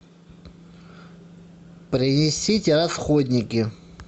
принесите расходники